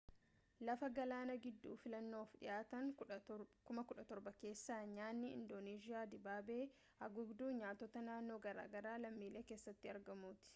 lafa galaana gidduu filannoof dhihaatan 17,000 keessaa nyaanni indooneezhiyaa dibaabee haguugduu nyaatota naannoo garaagaraa lammiilee keessatti argamuuti